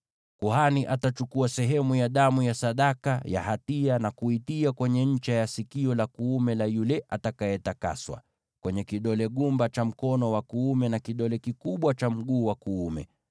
Kuhani atachukua sehemu ya damu ya sadaka ya hatia na kuitia kwenye ncha ya sikio la kuume la yule atakayetakaswa, kwenye kidole gumba cha mkono wake wa kuume, na kidole kikubwa cha mguu wake wa kuume.